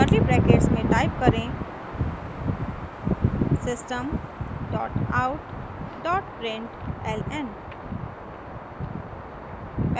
curly brackets में type करें system dot out dot println